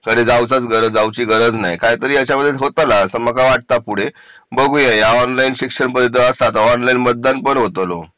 त्याच्यासाठी जाऊच गरज नाही ह्याच्यात पुढे होतला असं मला वाटतं पुढे बघूया या ऑनलाइन शिक्षणासारखं ऑनलाईन मतदान पण होतो लो